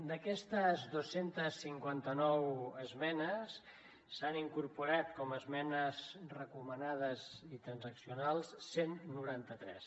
d’aquestes dos cents i cinquanta nou esmenes s’han incorporat com a esmenes recomanades i transaccionals cent i noranta tres